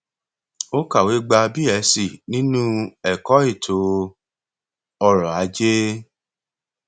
ó kàwé gba b sc nínú ẹkọ ètò ọrọ ajé